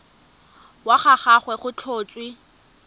wa ga gagwe go tlhotswe